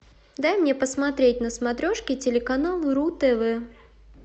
дай мне посмотреть на смотрешке телеканал ру тв